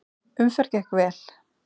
Umferð gekk vel.